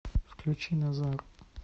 включи назар